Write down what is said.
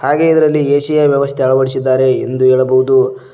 ಹಾಗೆ ಇದರಲ್ಲಿ ಎ_ಸಿ ಯ ವ್ಯವಸ್ಥೆ ಅಳವಡಿಸಿದ್ದಾರೆ ಎಂದು ಹೇಳಬಹುದು.